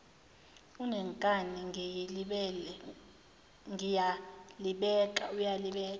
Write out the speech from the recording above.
unenkani ngiyalibeka uyalibeka